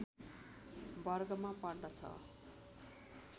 वर्गमा पर्दछ